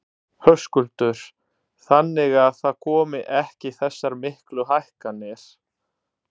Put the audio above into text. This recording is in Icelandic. Höskuldur: Þannig að það komi ekki þessar miklu hækkanir?